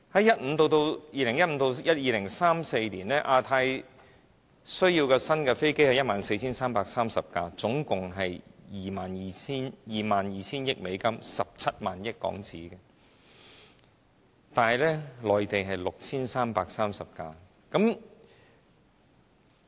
估計2015年至2034年，亞太地區需要 14,330 架新飛機，總價值達 22,000 億美元，即17萬億港元，但內地只需66 33架。